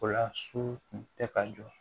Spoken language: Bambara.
O la su kun tɛ ka jɔ